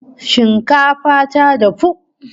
Shinkafa ta dafu!